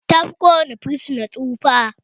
Tafi ko wane fursuna tsufa